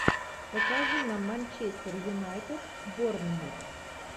покажи нам манчестер юнайтед борнмут